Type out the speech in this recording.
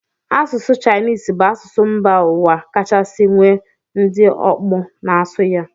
Asụsụ Chinese bụ asụsụ mba ụwa kachasị nwee ndị ọkpụ na-asụ ya